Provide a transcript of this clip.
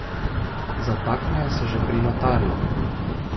Zatakne se že pri notarju.